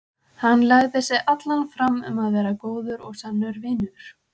Hann legði sig allan fram um að verða góður og sannur vinur.